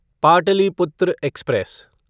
Pataliputra express